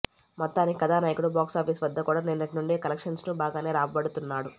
మొత్తానికి కథానాయకుడు బాక్సాఫీస్ వద్ద కూడా నిన్నటి నుండి కలెక్షన్స్ ను బాగానే రాబడుతున్నాడు